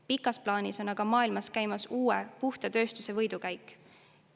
Pikas plaanis on aga maailmas käimas uue, puhta tööstuse võidukäik.